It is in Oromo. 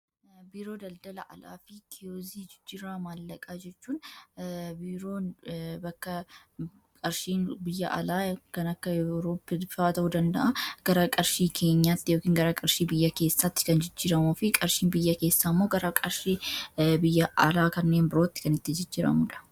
Biiroo daldala alaa fi kiyozii jijjiirraa maallaqaa jechuun biiroon bakka qarshiin biyya alaa kan akka ewurooppi faa ta'uu danda'a gara qarshii keenyaatti yookaan gara qarshii biyya keessaatti kan jijjiramu fi qarshiin biyya keessaa immoo gara qarshii biyya alaa kanneen birootti kan itti jijjiramudha.